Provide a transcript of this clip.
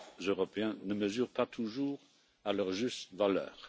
Européens ne mesurent pas toujours à leur juste valeur.